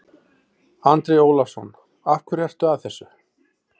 Andri Ólafsson: Af hverju ertu að þessu?